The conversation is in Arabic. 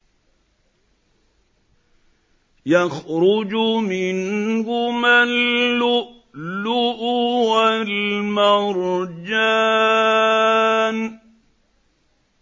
يَخْرُجُ مِنْهُمَا اللُّؤْلُؤُ وَالْمَرْجَانُ